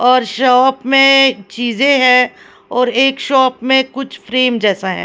और शॉप में चीजें है और एक शॉप में कुछ फ्रेम जैसा है।